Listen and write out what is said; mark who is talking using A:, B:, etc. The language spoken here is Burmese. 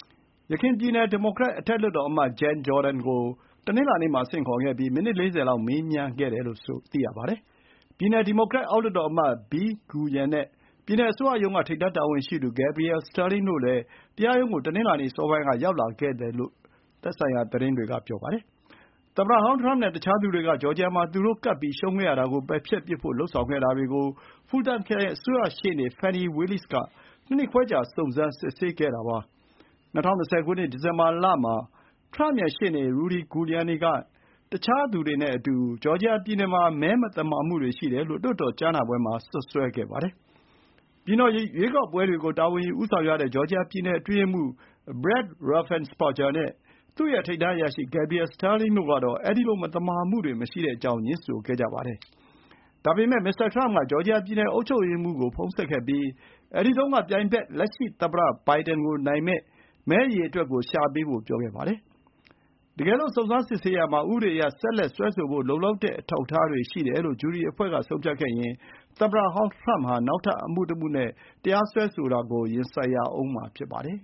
A: ။ ယခင် ပြည်နယ်ဒီမိုကရက် အထက်လွှတ်တော်အမတ် Jen Jordan ကို တနင်္လာနေ့မှာ ဆင့်ခေါ်ခဲ့ပြီး မိနစ် ၄၀ လောက် မေးမြန်းခဲ့ကြပါတယ်။ ပြည်နယ် ဒီမိုကရက် အောက်လွှတ်တော်အမတ် Bee Nguyen နဲ့ ပြည်နယ်အစိုးရရုံးက ထိပ်တန်းတာဝန်ရှိသူ Gabriel Sterling တို့လည်း တရားရုံးကို တနင်္လာနေ့ စောစောပိုင်းက ရောက်လာခဲ့တယ်လို့ သတင်းဌာနတွေက ဆိုကြပါတယ်။ သမ္မတဟောင်း ထရမ့်နဲ့ တခြားသူတွေက ဂျော်ဂျီယာမှာ သူတို့ ကပ်ပြီးရှုံးခဲ့ရတာ ကိုပယ်ဖျက်ပစ်ဖို့ လုပ်ဆောင်ခဲ့တာတွေကို ဖူလ်တန်ခရိုင် အစိုးရ ရှေ့နေ Fani Willis က ၂ နှစ်ခွဲကြာ စုံစမ်းစစ်ဆေးခဲ့တာပါ။ ၂၀၂၀ ခုနှစ် ဒီဇင်ဘာလမှာ ထရမ့် ရဲ့ ရှေ့နေ Rudy Giuliani နဲ့ တခြားသူတွေက ဂျော်ဂျီယာပြည်နယ်မှာ မဲ မသမာမှုတွေ ရှိတယ်လို့ လွှတ်တော် ကြားနာပွဲမှာ စွပ်စွဲခဲ့ပါတယ်။ ပြည်နယ်ရွေးကောက်ပွဲတွေကို တာဝန်ယူဦးဆောင်ရတဲ့ ဂျော်ဂျီယာပြည်နယ် အတွင်းရေးမှူး Brad Raffensperger နဲ့ သူ့ ရဲ့ ထိပ်တန်းအရာရှိ Gabriel Sterling တို့က အဲဒီလို မသမာမှုတွေ မရှိကြောင်း ငြင်းဆိုခဲ့ကြတာပါ။ ဒါပေမဲ့ မစ္စတာထရမ့်က ဂျော်ဂျီယာပြည်နယ်အုပ်ချုပ်ရေးမှူးကို ဖုန်းဆက်ခဲ့ပြီး အဲဒီတုန်း ကပြိုင်ဘက် လက်ရှိသမ္မတဘိုင်ဒင်ကို နိုင်မယ့် မဲအရေအတွက်ကိုရှာပေးဖို့ ပြောခဲ့ပါတယ်။ တကယ်လို့ စုံစမ်းစစ်ဆေးရာမှာ ဥပဒေအရ ဆက်လက်စစ်ဆေးဖို့ လုံလောက်တဲ့ အထောက်အထားတွေရှိတယ်လို့ ဂျူရီအဖွဲ့က ဆုံးဖြတ်ခဲ့ရင် သမ္မတဟောင်း ထရမ့်ဟာ နောက်ထပ် အမှုတမှုနဲ့ စွဲဆိုတာကို ရင်ဆိုင်ရဦးမှာ ဖြစ်ပါတယ်။